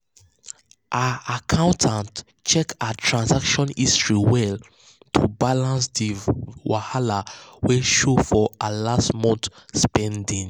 her accountant check her transaction history well to balance the wahala wey show for last month spending.